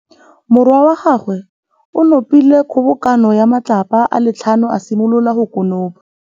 Morwa wa gagwe o nopile kgobokanô ya matlapa a le tlhano, a simolola go konopa.